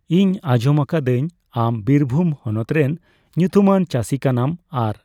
ᱤᱧ ᱟᱸᱡᱚᱢᱟᱠᱟᱫᱟᱹᱧ ᱟᱢ ᱵᱤᱨᱵᱷᱩᱢ ᱦᱚᱱᱚᱛ ᱨᱮᱱ ᱧᱩᱛᱩᱢᱟᱱ ᱪᱟᱥᱤ ᱠᱟᱱᱟᱢ ᱾ ᱟᱨ